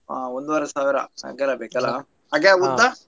ಹಾ ಒಂದೂವರೆ ಸಾವಿರ ಅಗಲ ಬೇಕಲ ಉದ್ದ?